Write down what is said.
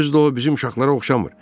Özü də o bizim uşaqlara oxşamır.